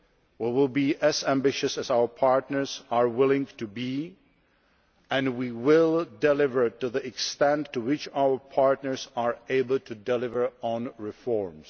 We will be as ambitious as our partners are willing to be and we will deliver to the extent to which our partners are able to deliver on reforms.